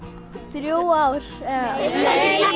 þrjú ár nei